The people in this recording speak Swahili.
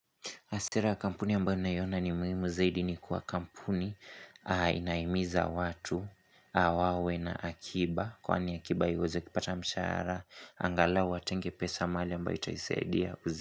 Asira ya kampuni ambayo ninaiona ni muhimu zaidi ni kuwa kampuni, inahimiza watu, wawe na akiba, kwani akiba haiozi akipata mshahara, angalau atenge pesa mahali ambayo itaisaidia.